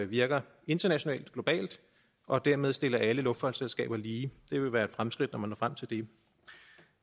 virker internationalt og globalt og dermed stiller alle luftfartsselskaber lige det vil være et fremskridt når man når frem til det